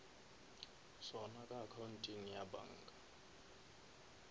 sona ka accounteng ya banka